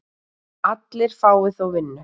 Allir fái þó vinnu.